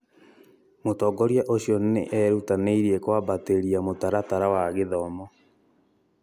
Mũtongoria ũcio nĩ erutanĩirie kwambatĩria mũtaratara wa gĩthomo.